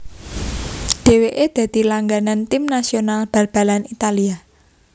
Dèwèké dadi langganan Tim nasional balbalan Italia